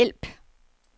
hjælp